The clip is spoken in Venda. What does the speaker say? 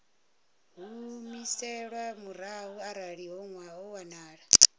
humiselwa murahu arali ho wanala